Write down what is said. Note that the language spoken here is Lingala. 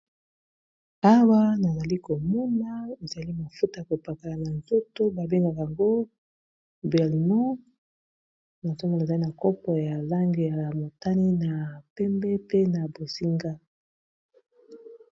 Awa nazali komoma ezali mafuta ya ko pakola na nzoto babengaka yango bielnon na zomo ezali na copo ya langei ya motane na pembe pe na bozinga